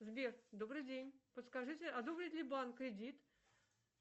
сбер добрый день подскажите одобрит ли банк кредит